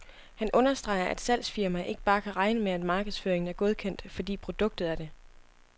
Han understreger, at salgsfirmaer ikke bare kan regne med, at markedsføringen er godkendt, fordi produktet er det.